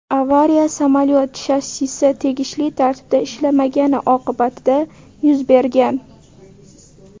Avariya samolyot shassisi tegishli tartibda ishlamagani oqibatida yuz bergan.